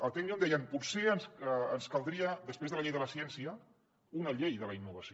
a tecnio em deien potser ens caldria després de la llei de la ciència una llei de la innovació